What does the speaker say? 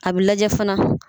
A bi lajɛ fana.